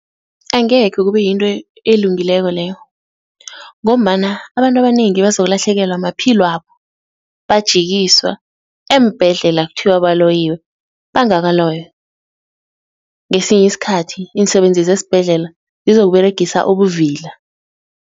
Angekhe kube yinto elungileko leyo ngombana abantu abanengi bazolahlekelwa maphilwabo bajikiswa eembhedlela kuthiwa baloyiwe bangakaloywa, ngesinye isikhathi iinsebenzi zesibhedlela zizokuberegisa ubuvila.